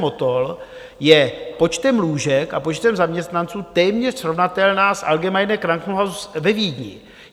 Motol je počtem lůžek a počtem zaměstnanců téměř srovnatelná s Allgemeines Krankenhaus ve Vídni.